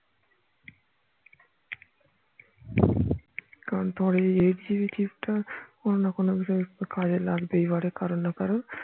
কারণ তোমার এই eightGBchip টা অন্য কোনো বিষয় কাজে লাগতেই পারে কারোর না কারোর